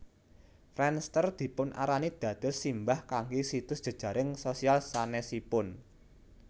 Friendster dipunarani dados simbah kangge situs jejaring sosial sanesipun